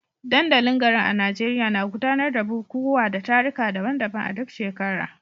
Dandalin garin a Najeriya na gudanar da bukukuwa da taruka daban-daban a duk shekara.